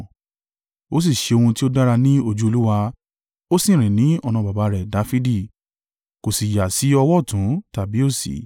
Ó sì ṣe ohun tí ó dára ní ojú Olúwa, ó sì rìn ọ̀nà baba rẹ̀ Dafidi, kò sì yà sí ọwọ́ ọ̀tún tàbí òsì.